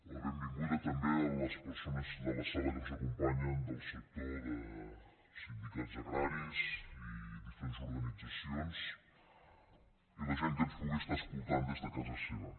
la benvinguda també a les persones de la sala que ens acompanyen del sector de sindicats agra·ris i diferents organitzacions i a la gent que ens pugui estar escoltant des de casa seva